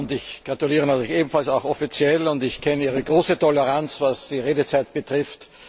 Ich gratuliere natürlich ebenfalls offiziell, und ich kenne Ihre große Toleranz, was die Redezeit betrifft.